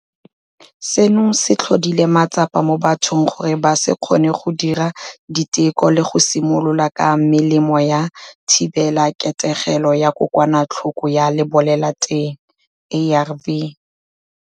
Seno se tlhodile matsapa mo bathong gore ba se kgone go dira diteko le go simolola ka melemo ya thibelaketegelo ya kokwanatlhoko ya lebolelateng, ARV.